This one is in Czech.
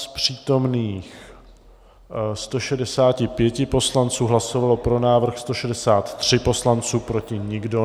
Z přítomných 165 poslanců, hlasovalo pro návrh 163 poslanců, proti nikdo.